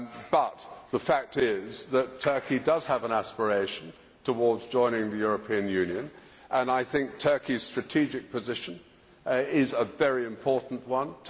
But the fact is that Turkey does have an aspiration towards joining the European Union and I think Turkey's strategic position is a very important one.